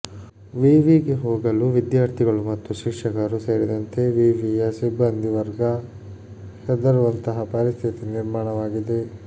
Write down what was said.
ವಿವಿಗೆ ಹೋಗಲು ವಿದ್ಯಾರ್ಥಿಗಳು ಮತ್ತು ಶಿಕ್ಷಕರು ಸೇರಿದಂತೆ ವಿವಿಯ ಸಿಬ್ಬಂದಿ ವರ್ಗ ಹೆದರುವಂತಹ ಪರಿಸ್ಥಿತಿ ನಿರ್ಮಾಣವಾಗಿದೆ